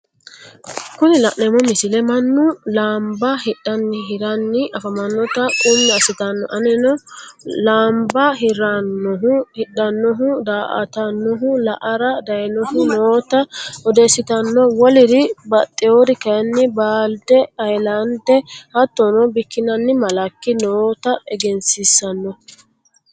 Kunni lannemmo missille mannu laanibba hidhaninna hiraani afamannotta quumi assittanno. aneenno laanibba hirranohu, hidhanohu, daa'atanohu, la'arra dayinnohu nootta oddessitanno. wolliri baxeworri kayinni baalide ,hayilandde, haatonno biikinanni malakki notta egensissanno.